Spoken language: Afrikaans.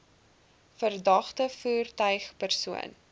verdagte voertuig persoon